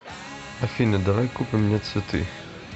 афина давай купим мне цветы